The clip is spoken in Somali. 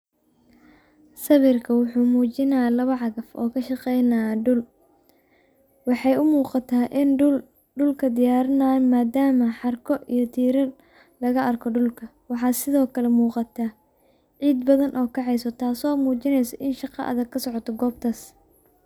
Sawiirkaan wuxuu mujinaaya laba cagaf oo ka shaqeynaya dul, waxeey umuqataa inaay dulka diyaarini haayan maadama xarko iyo tiirar lagu arko dulka, si nooga muuqata ciid badan oo kaceysa taas oo mujineyso in shaqa adag kasocoto meeshaas.